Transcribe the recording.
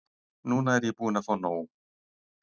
Núna er ég búin að fá nóg.